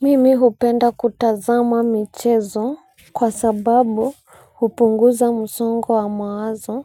Mimi hupenda kutazama michezo kwa sababu hupunguza msongo wa mawazo